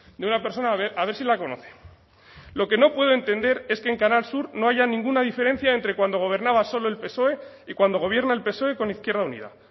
de una persona a ver si la conoce lo que no puedo entender es que en canal sur no haya ninguna diferencia entre cuando gobernaba solo el psoe y cuando gobierna el psoe con izquierda unida